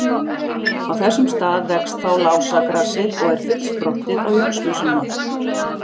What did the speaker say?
Á þessum stað vex þá lásagrasið og er fullsprottið á Jónsmessunótt.